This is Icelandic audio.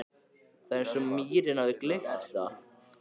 Það er eins og mýrin hafi gleypt það.